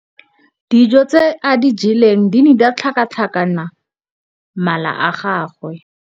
Dijô tse a di jeleng di ne di tlhakatlhakanya mala a gagwe.